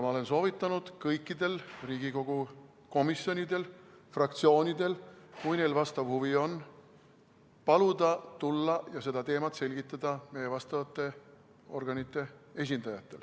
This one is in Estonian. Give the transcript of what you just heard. Ma olen soovitanud kõikidel Riigikogu komisjonidel ja fraktsioonidel, kui neil huvi on, paluda, et tuleksid ja seda teemat selgitaksid meie vastavate organite esindajad.